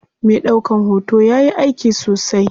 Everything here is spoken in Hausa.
Me ɗaukan hoto yayi aiki sosai.